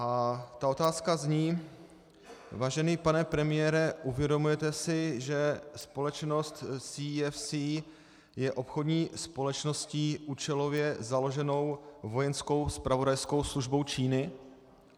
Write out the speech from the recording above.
A ta otázka zní: Vážený pane premiére, uvědomujete si, že společnost CEFC je obchodní společností účelově založenou vojenskou zpravodajskou službou Číny?